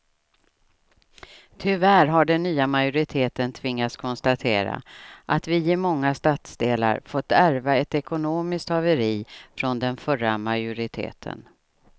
Tyvärr har den nya majoriteten tvingats konstatera att vi i många stadsdelar fått ärva ett ekonomiskt haveri från den förra majoriteten.